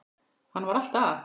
Hann var alltaf að.